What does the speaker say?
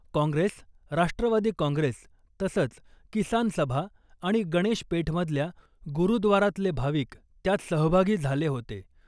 काँग्रेस , राष्ट्रवादी काँग्रेस , तसंच किसान सभा आणि गणेश पेठमधल्या गुरुद्वारातले भाविक त्यात सहभागी झाले होते .